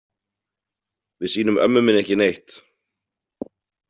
Við sýnum ömmu minni ekki neitt.